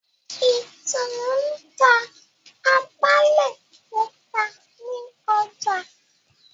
Itunu n'ta Atale Pupa nì ọjà